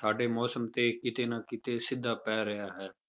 ਸਾਡੇ ਮੌਸਮ ਤੇ ਕਿਤੇ ਨਾ ਕਿਤੇ ਸਿੱਧਾ ਪੈ ਰਿਹਾ ਹੈ,